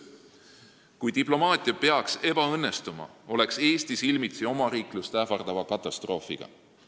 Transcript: Kui diplomaatia peaks ebaõnnestuma, oleks Eesti silmitsi omariiklust ähvardava katastroofiga.